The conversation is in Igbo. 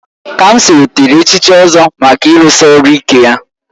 Kamsi nwetara echichi Ozo maka ịrụsi ọrụ ike ya